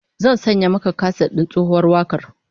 Zan sanya maka kaset din tsohuwar wakar